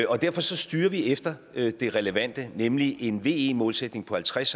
og derfor styrer vi efter det relevante nemlig en ve målsætning på halvtreds